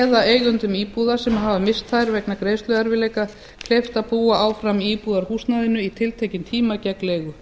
eða eigendum íbúða sem hafa misst þær vegna greiðsluerfiðleika kleift að búa áfram í íbúðarhúsnæði í tiltekinn tíma gegn leigu